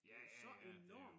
Ja ja ja det jo